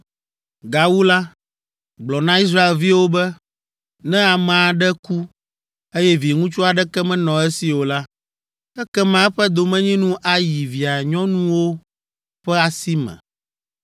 “Gawu la, gblɔ na Israelviwo be, ‘Ne ame aɖe ku, eye viŋutsu aɖeke menɔ esi o la, ekema eƒe domenyinu ayi via nyɔnuwo ƒe asi me.